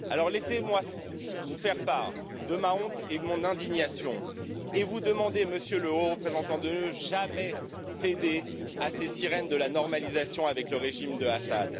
Alors laissez moi vous faire part de ma honte et de mon indignation et vous demander, Monsieur le Haut représentant, de jamais céder à ces sirènes de la normalisation avec le régime d'Assad.